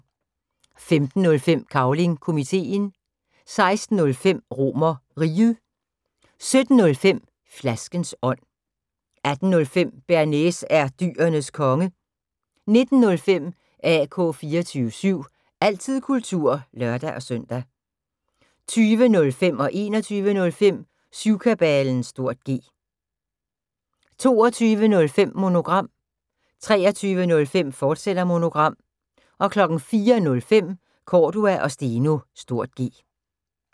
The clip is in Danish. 15:05: Cavling Komiteen 16:05: RomerRiget 17:05: Flaskens ånd 18:05: Bearnaise er Dyrenes Konge 19:05: AK 24syv – altid kultur (lør-søn) 20:05: Syvkabalen (G) 21:05: Syvkabalen (G) 22:05: Monogram 23:05: Monogram, fortsat 04:05: Cordua & Steno (G)